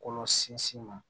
Kɔlɔ sinsin ma